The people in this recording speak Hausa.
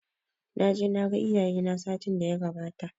Naje naga iyaye na satin daya gabata